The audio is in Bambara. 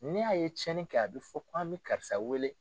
Ni a ye tiɲɛni kɛ a bɛ fɔ k'an bɛ karisa wele